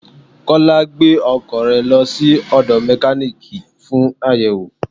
Kúnlé gbẹ́ ọkọ̀ rẹ lọ sí ódo Mekaniiki fún àyẹ̀wò.